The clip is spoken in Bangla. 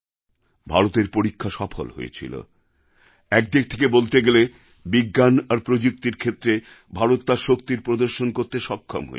ভারতের পরীক্ষা সফল হয়েছিল একদিক থেকে বলতে গেলে বিজ্ঞান আর প্রযুক্তির ক্ষেত্রে ভারত তার শক্তির প্রদর্শন করতে সক্ষম হয়েছিল